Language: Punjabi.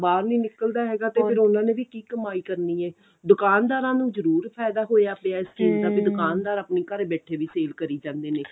ਬਾਹਰ ਨਹੀਂ ਨਿਕਲਦਾ ਤੇ ਫਿਰ ਉਹਨਾ ਨੇ ਵੀ ਕੀ ਕਮਾਈ ਏ ਦੁਕਾਨਦਾਰਾਂ ਨੂੰ ਜਰੂਰ ਫਾਇਦਾ ਹੋਇਆ ਪਿਆ ਵੀ ਦੁਕਾਨਦਾਰ ਆਪਣੇ ਘਰ ਬੈਠੇ ਵੀ sale ਕਰੀਂ ਜਾਂਦੇ ਨੇ